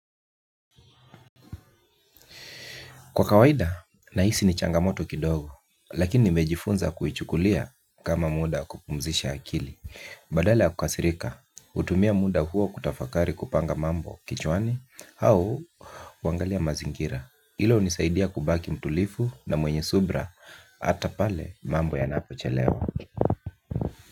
Kwa kawaida, nahisi ni changamoto kidogo, lakini nimejifunza kuichukulia kama muda kupumzisha akili, badala ya kukasirika, hutumia muda huo kutafakari kupanga mambo kichwani, au huangalia mazingira, hilo unisaidia kubaki mtulivu na mwenye subra, ata pale mambo yanapochelewa.